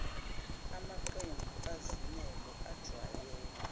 amqembu azimele ajwayele